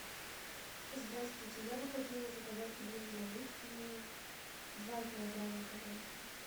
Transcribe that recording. здравствуйте я бы хотела заказать пельмени малютки два килограмма пожалуйста